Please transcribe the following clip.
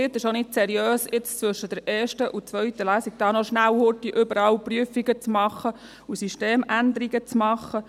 Es ist nicht seriös, zwischen der ersten und zweiten Lesung noch schnell überall Prüfungen und Systemänderungen zu machen.